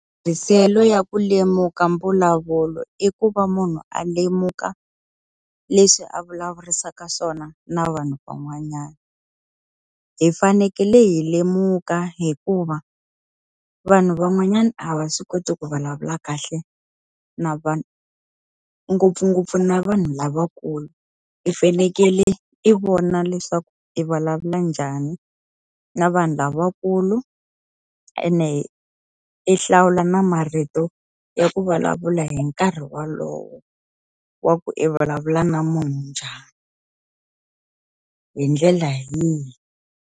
Ya ku lemuka mbulavulo i ku va munhu a lemuka leswi a vulavurisaka swona na vanhu van'wanyana. Hi fanekele hi lemuka hikuva, vanhu van'wanyana a va swi koti ku vulavula kahle na vanhu. Ngopfungopfu na vanhu lavakulu, i fanekele i vona leswaku i vulavula njhani na vanhu lavakulu. Ene i hlawula na marito ya ku vulavula hi nkarhi wolowo wa ku i vulavula na munhu njhani, hi ndlela yihi.